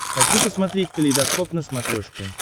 хочу посмотреть калейдоскоп на смотрешке